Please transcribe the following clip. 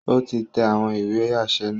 O ti n tẹ awọn ìwé aṣẹ naa